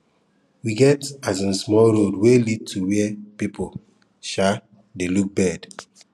we get um small road wey lead go where people um dey look bird